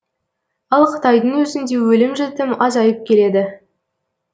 ал қытайдың өзінде өлім жітім азайып келеді